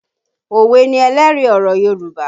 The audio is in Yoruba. Òwe ni ẹlẹ́rìí ọ̀rọ̀ Yorùbá